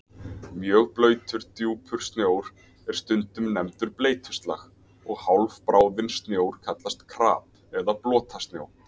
Mjög blautur, djúpur snjór er stundum nefndur bleytuslag og hálfbráðinn snjór kallast krap og blotasnjó.